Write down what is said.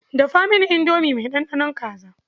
Dafa mini indomi mai ɗanɗanon kaza.